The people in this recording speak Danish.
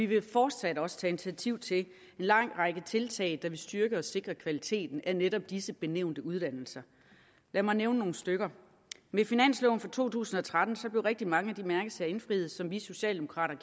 vil fortsat også tage initiativ til en lang række tiltag der vil styrke og sikre kvaliteten af netop disse benævnte uddannelser lad mig nævne nogle stykker med finansloven for to tusind og tretten blev rigtig mange af de mærkesager indfriet som vi socialdemokrater